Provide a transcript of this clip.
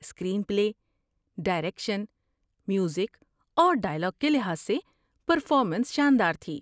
Screen پلے، direction, music اور dialogue کے لحاظ سے پرفارمنس شاندار تھی۔